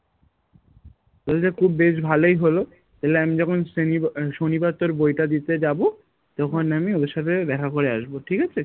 তোর যে খুব বেশ ভালোই হলো তাহলে আমি যখন শ্রেণী বা আহ শনিবার তোর বইটা দিতে যাবো তখন আমি ওদের সাথে দ্যাখা করে আসবো ঠিক আছে?